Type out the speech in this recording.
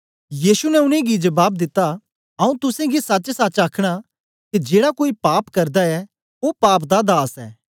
यीशु ने उनेंगी जबाब दिता आऊँ तुसेंगी सचसच आखना के जेड़ा कोई पाप करदा ऐ ओ पाप दा दास ऐ